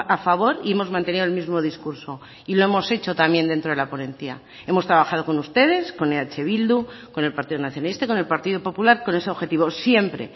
a favor y hemos mantenido el mismo discurso y lo hemos hecho también dentro de la ponencia hemos trabajado con ustedes con eh bildu con el partido nacionalista con el partido popular con ese objetivo siempre